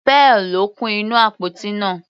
Pearl ló kún inú àpótí náà.